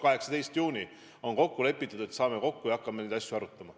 18. juunil me saame kokku ja hakkame neid asju arutama.